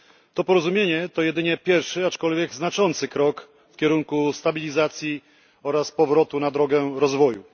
To porozumienie to jedynie pierwszy, aczkolwiek znaczący krok w kierunku stabilizacji oraz powrotu na drogę rozwoju.